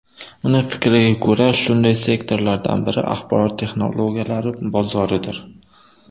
Uning fikriga ko‘ra, shunday sektorlardan biri axborot texnologiyalari bozoridir.